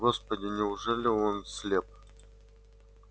господи неужели он слеп